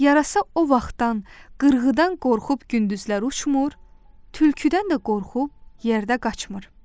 Yarasa o vaxtdan qırğıdan qorxub gündüzlər uçmur, tülküdən də qorxub yerdə qaçmır.